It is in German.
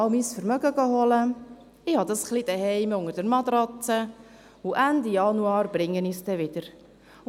Ich hole jetzt mein Vermögen, lege es zu Hause ein wenig unter meine Matratze und Ende Januar bringe ich es dann wieder zur Bank.